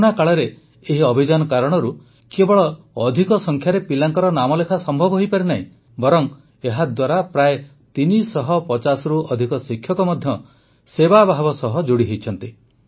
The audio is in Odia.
କରୋନା କାଳରେ ଏହି ଅଭିଯାନ କାରଣରୁ କେବଳ ଅଧିକ ସଂଖ୍ୟାରେ ପିଲାଙ୍କ ନାମଲେଖା ସମ୍ଭବ ହୋଇପାରିନାହିଁ ବରଂ ଏହାଦ୍ୱାରା ପ୍ରାୟ ୩୫୦ରୁ ଅଧିକ ଶିକ୍ଷକ ମଧ୍ୟ ସେବାଭାବ ସହ ଯୋଡ଼ି ହୋଇଛନ୍ତି